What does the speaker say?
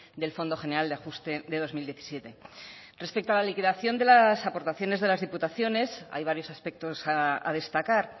del fondo general de ajuste de dos mil diecisiete respecto a la liquidación de las aportaciones de las diputaciones hay varios aspectos a destacar